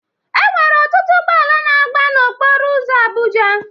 Enwere ọtụtụ ụgbọala na agba na okporo ụzọ Abụja.